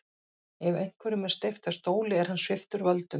Ef einhverjum er steypt af stóli er hann sviptur völdum.